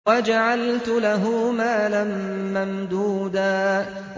وَجَعَلْتُ لَهُ مَالًا مَّمْدُودًا